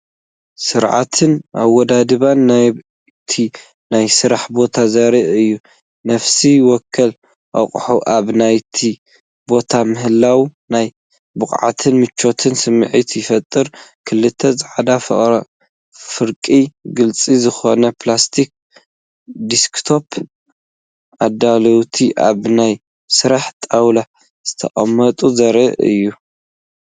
ስርዓትን ኣወዳድባን ናይቲ ናይ ስራሕ ቦታ ዘርኢ እዩ። ነፍሲ ወከፍ ኣቕሓ ኣብ ናቱ ቦታ ምህላዉ ናይ ብቕዓትን ምቾትን ስምዒት ይፈጥር። ክልተ ጻዕዳ ፍርቂ ግሉጽ ዝኾኑ ፕላስቲክ ዴስክቶፕ ኣዳለውቲ ኣብ ናይ ስራሕ ጣውላ ዝተቐመጡ ዘርኢ ይረአ።